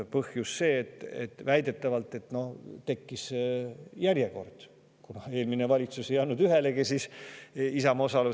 Põhjus on see, et väidetavalt tekkis järjekord, kuna eelmine valitsus ei andnud Isamaa osalusel ühelegi.